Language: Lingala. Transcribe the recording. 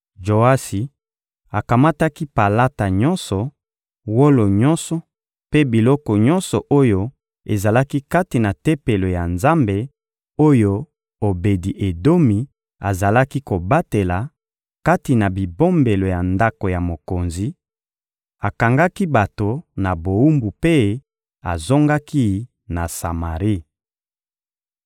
Joasi akamataki palata nyonso, wolo nyonso mpe biloko nyonso oyo ezalaki kati na Tempelo ya Nzambe oyo Obedi-Edomi azalaki kobatela, kati na bibombelo ya ndako ya mokonzi; akangaki bato na bowumbu mpe azongaki na Samari.